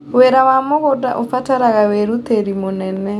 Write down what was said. Wĩra wa mũgũnda ũrabatara wĩrutĩri mũnene.